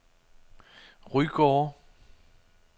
Rygårde